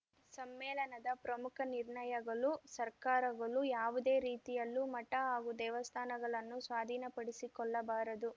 ಸಮ್ಮೇಳನದ ಪ್ರಮುಖ ನಿರ್ಣಯಗಳು ಸರ್ಕಾರಗಳು ಯಾವುದೇ ರೀತಿಯಲ್ಲೂ ಮಠ ಹಾಗೂ ದೇವಸ್ಥಾನಗಳನ್ನು ಸ್ವಾಧೀನಪಡಿಸಿಕೊಳ್ಳಬಾರದು